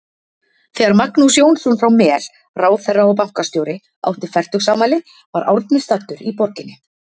Þegar Magnús Jónsson frá Mel, ráðherra og bankastjóri, átti fertugsafmæli var Árni staddur í borginni.